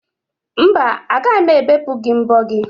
Mba, agaghị m ebepụ gị mbo gị.